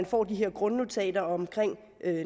får de her grundnotater om